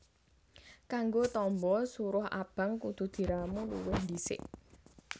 Kanggo tamba suruh abang kudu diramu luwih ndhisik